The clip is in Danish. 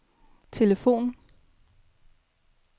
telefonen